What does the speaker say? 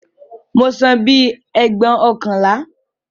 Mo san bíi ẹgbóokànlá